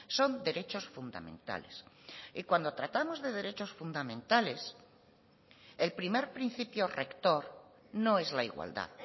son derechos fundamentales y cuando tratábamos de derechos fundamentales el primer principio rector no es la igualdad